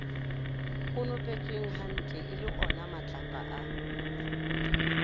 konopetswenghantle e le onamatlapa a